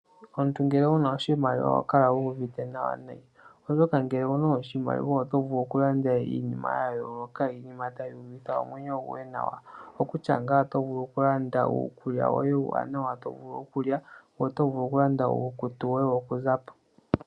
Omuntu ngele owu na oshimaliwa, oho kala wu uvite nawa nayi, oshoka ngele owu na oshimaliwa oto vulu okulanda iinima ya yooloka, iinima tayi uvitha omwenyo goye nawa, okutya ngaa oto vulu okulanda uukulya woye uuwanawa to vulu okulya, ngoye oto vulu okulanda uukutu woye wokuza po.